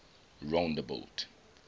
rondebult